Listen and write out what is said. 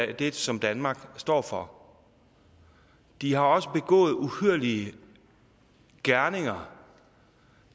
det som danmark står for de har også begået uhyrlige gerninger